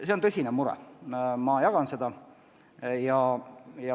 See on tõsine mure, ma jagan seda.